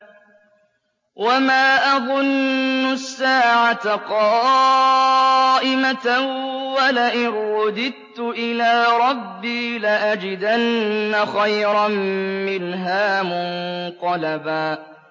وَمَا أَظُنُّ السَّاعَةَ قَائِمَةً وَلَئِن رُّدِدتُّ إِلَىٰ رَبِّي لَأَجِدَنَّ خَيْرًا مِّنْهَا مُنقَلَبًا